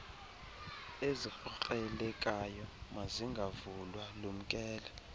ezikrokrelekayo mazingavulwa lumkela